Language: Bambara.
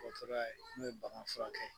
O t'ora ye n'o bagan furakɛ